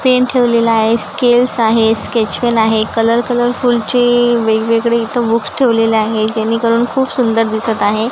Pen ठेवलेला आहे scales आहे स्केच पेन आहे कलर कलरफुलची वेग-वेगळे इथं बुक्स ठेवलेले आहे जेणेकरून खूप सुंदर दिसत आहे.